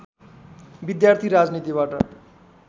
विद्यार्थी राजनीतिबाट